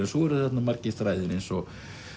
svo eru þarna margir þræðir eins og